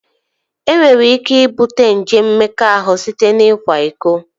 E nwere ike ibute nje mmekọahụ site n'ikwa iko